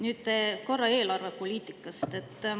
Nüüd korra eelarvepoliitikast.